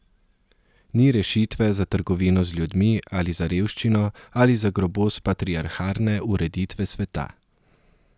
Ni rešitve za trgovino z ljudmi ali za revščino ali za grobost patriarhalne ureditve sveta.